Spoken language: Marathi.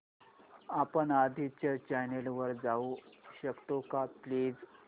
आपण आधीच्या चॅनल वर जाऊ शकतो का प्लीज